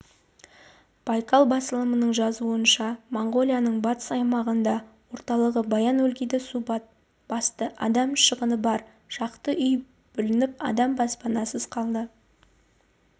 байкал басылымының жазуынша моңғолияның батыс аймағының орталығы баян-өлгийді су басты адам шығыны бар шақты үй бүлініп адам баспанасыз қалды